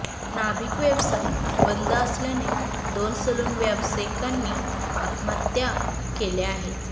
नाभिक व्यवसाय बंद असल्याने दोन सलून व्यावसायिकांनी आत्महत्या केल्या आहेत